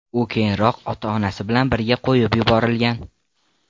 U keyinroq ota-onasi bilan birga qo‘yib yuborilgan.